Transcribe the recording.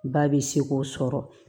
Ba bɛ se k'o sɔrɔ